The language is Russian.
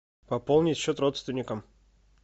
пополнить счет родственникам